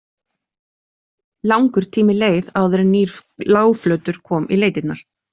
Langur tími leið áður en að nýr lágflötur kom í leitirnar.